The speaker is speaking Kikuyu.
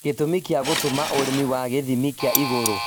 Gĩtũmi gĩa gũtũma ũrĩmi wa gĩthimi kĩa igũrũ